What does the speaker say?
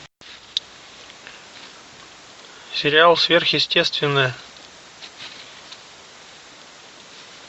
сериал сверхъестественное